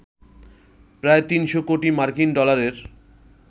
প্রায় ৩০০ কোটি মার্কিন ডলারের